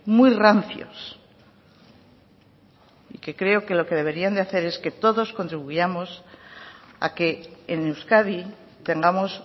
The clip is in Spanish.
muy rancios que creo que lo que deberían de hacer es que todos contribuyamos a que en euskadi tengamos